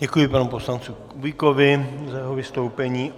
Děkuji panu poslanci Kubíkovi za jeho vystoupení.